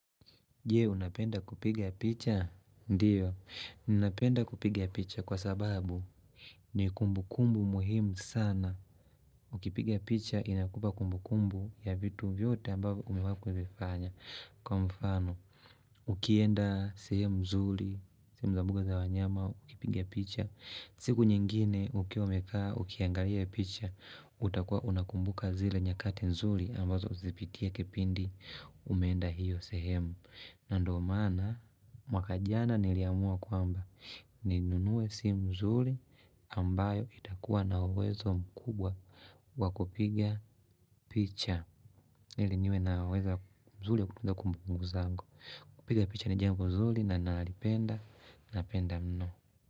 Je, unapenda kupiga picha? Ndiyo, ninapenda kupiga picha kwa sababu ni kumbukumbu muhimu sana. Ukipigia picha inakupa kumbukumbu ya vitu vyote ambavyo umewahikuvifanya. Kwa mfano, ukienda sehemu zuri sehemu za mbuga za wanyama, ukipiga picha. Siku nyingine, ukiwa umekaa, ukiangalia picha, utakua unakumbuka zile nyakati nzuri ambazo zipitia kipindi. Umeenda hiyo sehemu na ndo maana mwaka jana niliamua kwamba ninunue simu zuri ambayo itakuwa na uwezo mkubwa wa kupiga picha ili niwe na uwezo mzuri kutunza kumbukumbuku zangu kupiga picha ni jambo nzuri na nalipenda napenda mno.